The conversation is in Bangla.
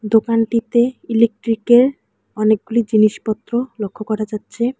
দোকানটিতে ইলেকট্রিকের অনেকগুলি জিনিসপত্র লক্ষ্য করা যাচ্ছে।